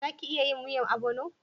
Za ki iya yin miyan obono?